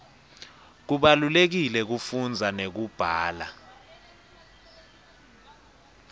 kubalulekile kufunza nekubhala